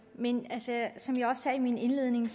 men som jeg også sagde i min indledning